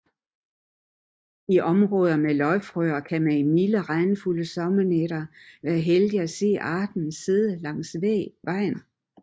I områder med løgfrøer kan man i milde regnfulde sommernætter være heldig at se arten sidde langs vejen